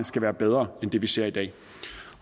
skal være bedre end det vi ser i dag